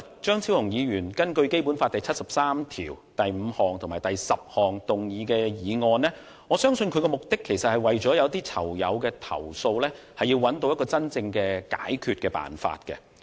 張超雄議員今天根據《基本法》第七十三條第五項及第十項動議議案，我相信他的目的是為了替某些囚友的投訴，尋找真正的解決辦法。